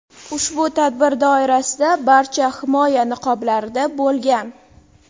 Ushbu tadbir doirasida barcha himoya niqoblarida bo‘lgan.